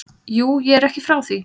Jú, ég er ekki frá því.